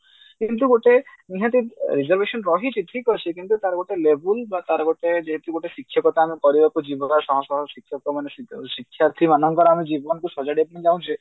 ଯେମତି ଗୋଟେ ନିହାତି reservation ରହିଛି ଠିକ ଅଛି କିନ୍ତୁ ତାର ଗୋଟେ label ତାର ଗୋଟେ ଯେ କି ଗୋଟେ ଶିକ୍ଷକତା ଆମେ କରିବାକୁ ଯିବା ଶହଶହ ଶିକ୍ଷକ ମାନେ ସି ଶିକ୍ଷାର୍ଥୀ ମାନଙ୍କର ଆମେ ଜୀବନକୁ ସଜାଡିବାକୁ ଚାହୁଞ୍ଚେ